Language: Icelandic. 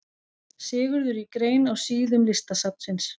Sigurður í grein á síðum Listasafnsins.